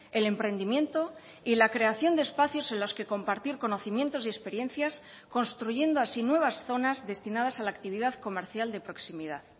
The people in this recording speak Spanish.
el emprendimiento y la creación de espacios en los que compartir conocimientos y experiencias construyendo así nuevas zonas destinadas a la actividad comercial de proximidad